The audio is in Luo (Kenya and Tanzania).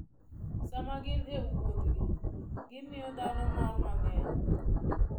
Sama gin e wuodhgi, gimiyo dhano mor mang'eny.